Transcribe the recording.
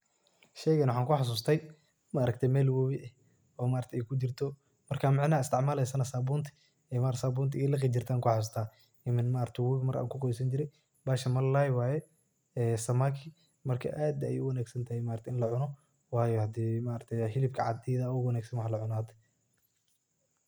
Sheegan waxan ku xasustay maaragtay meel woowi eeh oo maaragtay AA kijirtoh, macanaha isticmaleeysoh sabuunta, Aya lagi jeertay Aya ku xasustah, ee maaragtay markan kubQawesani jeeray bahsan malalay waye samaki marka aad Aya u jilecsanthay wayo hande helibka cada ayada aya u wangsan wax la cuunoh.